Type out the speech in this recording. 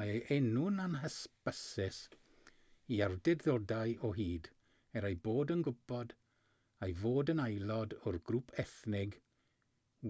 mae ei enw'n anhysbys i awdurdodau o hyd er eu bod yn gwybod ei fod yn aelod o'r grŵp ethnig